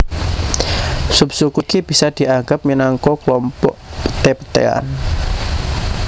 Subsuku iki bisa dianggep minangka klompok peté petéan